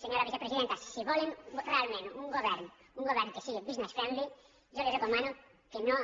senyora vicepresidenta si volen realment un govern que sigui business friendly jo li recomano que no